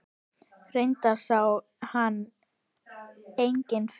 Reyndar sá hann enginn fyrir.